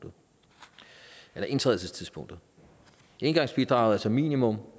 indtrædelsestidspunktet engangsbidraget er som minimum